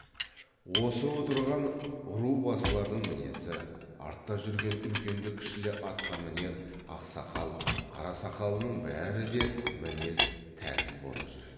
осы отырған ру басылардың мінезі артта жүрген үлкенді кішілі атқамінер ақсақал қарасақалының бәрі де мінез тәсіл бола жүреді